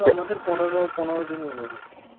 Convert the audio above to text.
আমাদের পনেরোঁ পনেরো দিন মনে হয়,